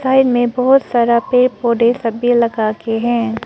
Side में बहुत सारा पर पड़े पौधे सब भी लगा के हैं।